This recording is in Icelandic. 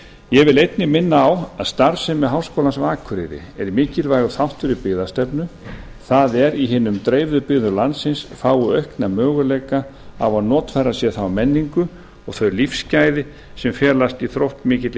ég vil einnig minna á að starfsemi háskólans á akureyri er mikilvægur þáttur í byggðastefnu það er í hinar dreifðu byggðir landsins fái aukna möguleika á að notfæra sér þá menningu og þau lífsgæði sem felast í þróttmikilli